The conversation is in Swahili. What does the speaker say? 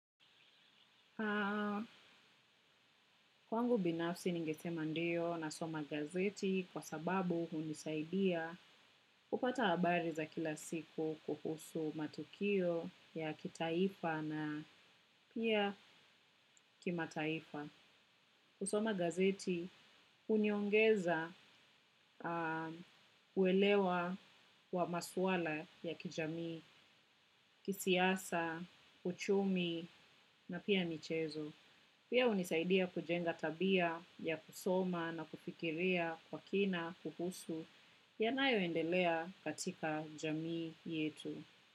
Kwangu binafsi ningesema ndiyo nasoma gazeti kwa sababu hunisaidia kupata habari za kila siku kuhusu matukio ya kitaifa na pia kimataifa. Kusoma gazeti huniongeza uelewa wa maswala ya kijami, kisiasa, kuchumi na pia michezo. Pia hunisaidia kujenga tabia ya kusoma na kufikiria kwa kina, kuhusu yanayo endelea katika jamii yetu.